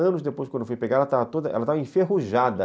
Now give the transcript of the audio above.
Anos depois, quando eu fui pegar, ela estava toda, ela estava enferrujada.